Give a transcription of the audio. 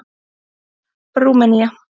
Rúmenía